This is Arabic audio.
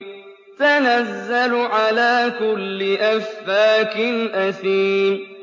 تَنَزَّلُ عَلَىٰ كُلِّ أَفَّاكٍ أَثِيمٍ